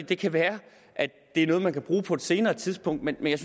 det kan være det er noget man kan bruge på et senere tidspunkt men jeg